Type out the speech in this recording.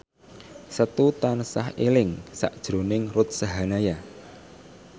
Setu tansah eling sakjroning Ruth Sahanaya